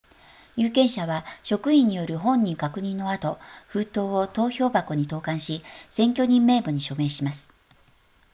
有権者は職員による本人確認の後封筒を投票箱に投函し選挙人名簿に署名します